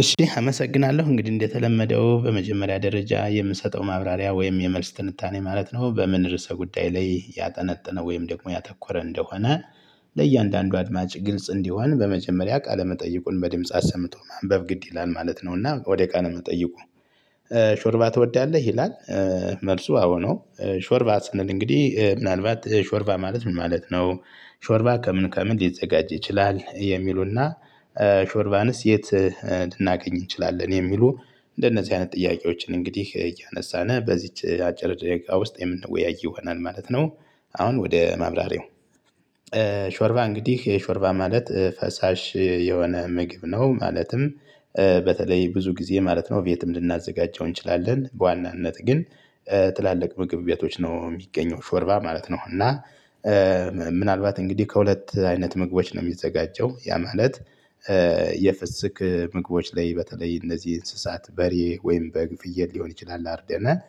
እሺ አመሰግናለሁ እንግዲህ እንደተለመደው በመጀመሪያ ደረጃ የምሰጠው ማብራሪያ ወይም የመልስ ትንታኔ ማለት ነው በምን ርዕሰ ጉዳይ ላይ ያጠነጠነ ወይም ደግሞ ያተኮረ እንደሆነ። ለእያንዳንዱ አድማጭ ግልጽ እንዲሆን በመጀመሪያ ቃለ መጠይቁን በድምጽ አሰምቶ ማንበብ ግድ ይላል ማለት ነው። እና ወደ ቃለ መጠይቁ? ሾርባ ትወዳለህ ይላል። መልሱ አዎ ነው። ሾርባ ስንል እንግዲህ ምናልባት ሾርባ ማለት ምን ማለት ነው? ሾርባ ከምን ከምን ሊዘጋጅ ይችላል የሚሉና። ሾርባንስ የት? ልናገኝ እንችላለን የሚሉ። እንደነዚህ አይነት ጥያቄዎችን እንግዲህ እያነሳን በዚህች አጭር ደቂቃ ውስጥ የምንወያይ ይሆናል ማለት ነው። አሁን ወደ ማብራሪው። ሾርባ እንግዲህ የሾርባ ማለት ፈሳሽ የሆነ ምግብ ነው። ማለትም በተለይ ብዙ ጊዜ ማለት ነው። ቤትም ልናዘጋጀው እንችላለን በዋናነት ግን ጥላልቅ ምግብ ቤቶች ነው የሚገኘው ሾርባ ማለት ነው። እና ምናልባት እንግዲህ ከሁለት አይነት ምግቦች ነው የሚዘጋጀው ያ ማለት። የፍስክ ምግቦች ላይ በተለይ እነዚህ እንስሳት በሬ ወይም በግፍየል ሊሆን ይችላል አርደናል።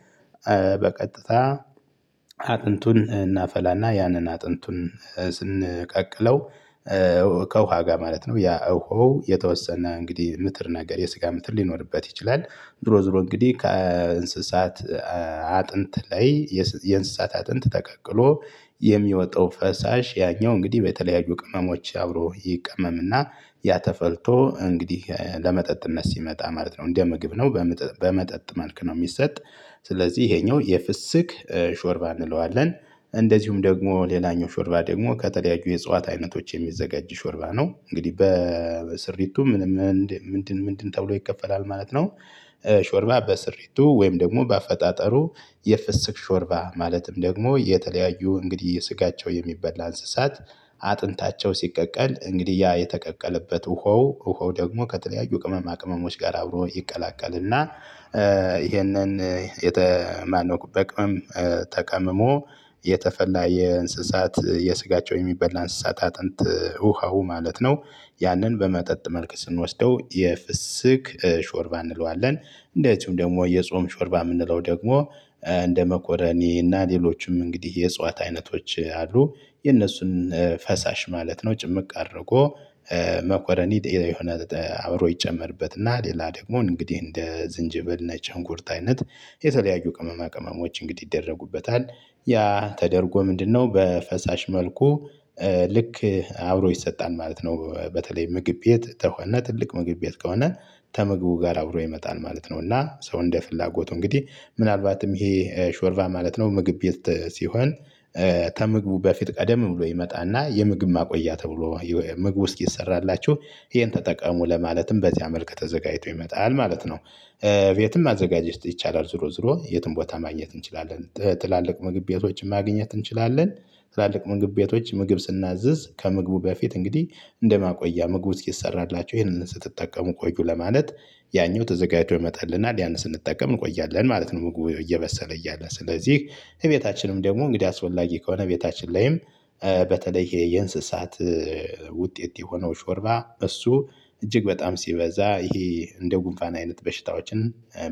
በቀጥታ አጥንቱን እናፈላና ያንን አጥንቱን ስንቀቅለው። ከውሃ ጋር ማለት ነው ያ እኀው የተወሰነ እንግዲህ ምትር ነገር የስጋ ምትር ሊኖርበት ይችላል። ዝሮ ዝሮ እንግዲህ ከእንስሳት አጥንት ላይ የእንስሳት አጥንት ተቀቅሎ የሚወጣው ፈሳሽ ያኛው እንግዲህ በተለያዩ ቅመሞች አብሮ ይቀመም። እና ያ ተፈልቶ እንግዲህ ለመጠጥነት ሲመጣ ማለት ነው እንደ ምግብ ነው በመጠጥ መልክ ነው የሚሰጥ። ስለዚህ ይሄኛው የፍስክ ሾርባ እንለዋለን። እንደዚሁም ደግሞ ሌላኛው ሾርባ ደግሞ ከተለያዩ የእጽዋት አይነቶች የሚዘጋጅ ሾርባ ነው እንግዲህ በስሪቱ ምንም ምንድን ምንድን ተብሎ ይከፈላል ማለት ነው። ሾርባ በስሪቱ ወይም ደግሞ በአፈጣጠሩ የፍስክ ሾርባ ማለትም ደግሞ የተለያዩ እንግዲህ የስጋቸው የሚበላ እንስሳት። አጥንታቸው ሲቀቀል እንግዲህ ያ የተቀቀለበት ውሃው ውሃው ደግሞ ከተለያዩ ቅመማ ቅመሞች ጋር አብሮ ይቀላቀልና። ይሄንን የተማነው በቅመም ተቀምሞ የተፈላ የእንስሳት የስጋቸው የሚበላ እንስሳት አጥንት ውሃው ማለት ነው። ያንን በመጠጥ መልክ ስንወስደው የፍስክ ሾርባ እንለዋለን። እንደዚሁም ደግሞ የጾም ሾርባ የምንለው ደግሞ እንደ መኮረኒ እና ሌሎችም እንግዲህ የእጽዋት አይነቶች አሉ። የእነሱን ፈሳሽ ማለት ነው ጭምቅ አድርጎ መኮረኒ የሆነ አብሮ ይጨመርበት። እና ሌላ ደግሞ እንግዲህ እንደ ዝንጀብል ነጭ ሽንኩርት አይነት የተለያዩ ቅመማ ቅመሞች እንግዲህ ይደረጉበታል። ያ ተደርጎ ምንድነው በፈሳሽ መልኩ ልክ አብሮ ይሰጣል ማለት ነው። በተለይ ምግብ ቤት ከሆነ ትልቅ ምግብ ቤት ከሆነ ከምግቡ ጋር አብሮ ይመጣል ማለት ነው። እና ሰው እንደ ፍላጎቱ እንግዲህ ምናልባትም ይሄ ሾርቫ ማለት ነው ምግብ ቤት ሲሆን ከምግቡ በፊት ቀደም ብሎ ይመጣና የምግብ ማቆያ ተብሎ ምግቡ እስኪሰራላችሁ ይሄን ተጠቀሙ ለማለትም በዚያ መልክ ተዘጋጅቶ ይመጣል ማለት ነው። የትም ማዘጋጀት ይቻላል ዝሮ ዝሮ የትም ቦታ ማግኘት እንችላለን ጥላልቅ ምግብ ቤቶችን ማግኘት እንችላለን። ትላልቅ ምግብ ቤቶች ምግብ ስናዝዝ ከምግቡ በፊት እንግዲህ እንደማቆያ ምግብ እስኪሰራላቸው ይሄንን ስትጠቀሙ ቆዩ ለማለት ያኛው ተዘጋጅቶ ይመጣልናል ያን ስንጠቀም እንቆያለን ማለት ነው። ምግብ እየበሰለ እያለ ስለዚህ ቤታችንም ደግሞ እንግዲህ አስፈላጊ ከሆነ ቤታችን ላይም በተለይ የእንስሳት ውጤት የሆነው ሾርባ እሱ እጅግ በጣም ሲበዛ ይሄ እንደ ጉንፋና አይነት በሽታዎችን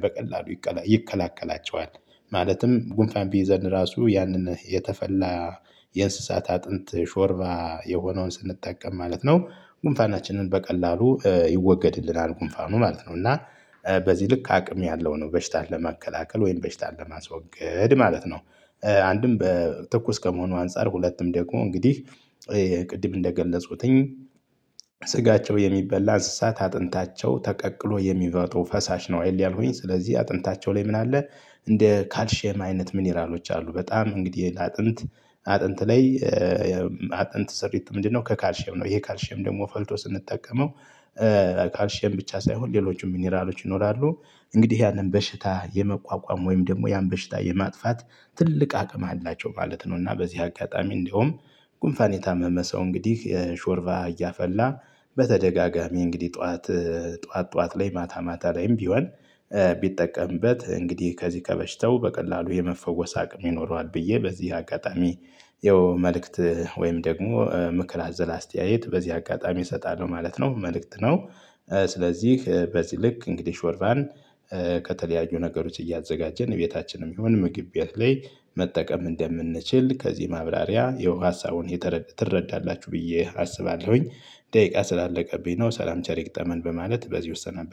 በቀላሉ ይከላከላቸዋል። ማለትም ጉንፋን ቢይዘን ራሱ ያንን የተፈላ የእንስሳት አጥንት ሾርባ የሆነውን ስንጠቀም ማለት ነው። ጉንፋናችንን በቀላሉ ይወገድልናል ጉንፋኑ ማለት ነው። እና በዚህ ልክ አቅም ያለው ነው በሽታ ለመከላከል ወይም በሽታ ለማስወገድ ማለት ነው። አንድም በተኩስ ከመሆኑ አንፃር ሁለቱም ደግሞ እንግዲህ ቅድም እንደገለጹትኝ ስጋቸው የሚበላ እንስሳት አጥንታቸው ተቀቅሎ የሚመጡ ፈሳሽ ነው ያልኩኝ ስለዚህ አጥንታቸው ላይ ምን አለ? እንደ ካልሼም አይነት ሚኒራሎች አሉ። በጣም እንግዲህ ለአጥንት አጥንት ላይ አጥንት ስሪት ምንድነው? ከካልሼም ነው ይሄ ካልሼም ደግሞ ፈልቶ ስንጠቀመው ካልሼም ብቻ ሳይሆን ሌሎቹም ሚኒራሎች ይኖራሉ። እንግዲህ ያንን በሽታ የመቋቋም ወይም ደግሞ ያን በሽታ የማጥፋት ትልቅ አቅም አላቸው ማለት ነው። እና በዚህ አጋጣሚ እንደውም ጉንፋን የታመመ ሰው እንግዲህ ሾርባ እያፈላ በተደጋጋሚ እንግዲህ ጠዋት ጠዋት ጠዋት ላይ ማታ ማታ ላይም ቢሆን ቢጠቀምበት እንግዲህ ከዚህ ከበሽታው በቀላሉ የመፈወስ አቅም ይኖረዋል ብዬ በዚህ አጋጣሚ። የመልእክት ወይም ደግሞ ምክር አዘላ አስተያየት በዚህ አጋጣሚ እሰጣለሁ ማለት ነው። መልእክት ነው። ስለዚህ በዚህ ልክ እንግዲህ ሾርቫን ከተለያዩ ነገሮች እያዘጋጀን ቤታችንም ይሁን ምግብ ቤት ላይ መጠቀም እንደምንችል ከዚህ ማብራሪያ ያው ሀሳቡን ትረዳላችሁ ብዬ አስባለሁኝ። ደቂቃ ስላለቀብኝ ነው ሰላም ቸር ይግጠመን በማለት በዚሁ እሰናበታለሁ